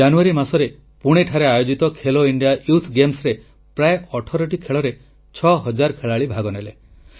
ଜାନୁୟାରୀ ମାସରେ ପୁଣେରେ ଆୟୋଜିତ ଖେଲୋ ଇଣ୍ଡିଆ ୟୁଥ୍ ଗେମ୍ସରେ ପ୍ରାୟ 18ଟି ଖେଳରେ 6000 ଖେଳାଳି ଭାଗନେଲେ